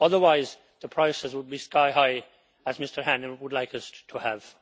Otherwise, the prices would be sky high, as Mr Hannan would like us to have.